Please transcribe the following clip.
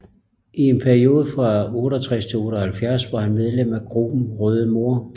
I en periode fra 1968 til 1978 var han medlem af gruppen Røde Mor